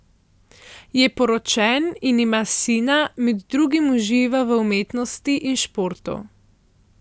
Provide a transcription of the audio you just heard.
Je poročen in ima sina, med drugim uživa v umetnosti in športu.